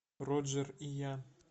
роджер и я